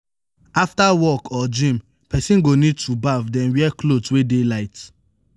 after work or gym person go need to baff then wear cloth wey det light